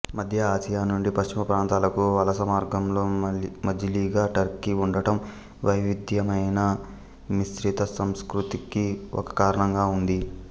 మద్య ఆసియా నుండి పశ్చిమ ప్రాంతాలకు వలసమార్గంలో మజిలీగా టర్కీ ఉండడం వైవిధ్యమైన మిశ్రితసంస్కృతికి ఒక కారణంగా ఉంది